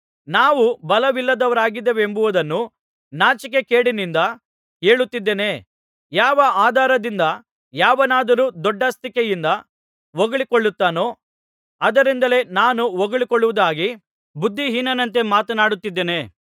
ನಾವು ಬಲವಿಲ್ಲದವರಾಗಿದ್ದೆವೆಂಬುದನ್ನು ನಾಚಿಕೆಗೇಡಿನಿಂದ ಹೇಳುತ್ತಿದ್ದೇನೆ ಯಾವ ಆಧಾರದಿಂದ ಯಾವನಾದರೂ ದೊಡ್ಡಸ್ತಿಕೆಯಿಂದ ಹೊಗಳಿಕೊಳ್ಳುತ್ತಾನೋ ಅದರಿಂದಲೇ ನಾನು ಹೊಗಳಿಕೊಳ್ಳುವುದಾಗಿ ಬುದ್ಧಿಹೀನನಂತೆ ಮಾತನಾಡುತ್ತಿದ್ದೇನೆ